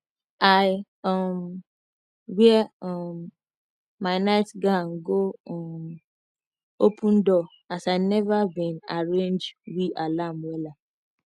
i um wear um my night gown go um open door as i neva been arrange we alarm wella